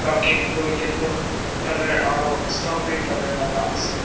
cupcake toh yellow colour aro strawberry colour laka ase.